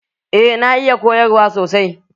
Eh na iya koyarwa sosai.